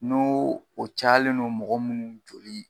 N'o o cayalen don mɔgɔ munnu joli